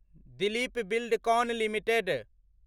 Dilip Buildcon limited